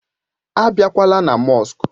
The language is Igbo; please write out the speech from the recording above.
Á bakwala na mọsk!